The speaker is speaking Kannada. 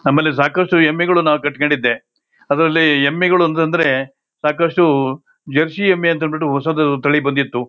ನಮ್ಮಲ್ಲಿ ಸಾಕಷ್ಟು ಎಮ್ಮೆಗಳು ನಾವು ಕಟ್ಟಕೊಂಡಿದೆ ಅದರಲ್ಲಿ ಎಮ್ಮೆಗಳು ಅಂತ ಅಂದ್ರೆ ಸಾಕಷ್ಟು ಜರಸಿ ಎಮ್ಮೆ ಅಂತ ಅಂದ್ ಬಿಟ್ಟು ಹೊಸದು ತಳಿ ಬಂದಿತ್ತು.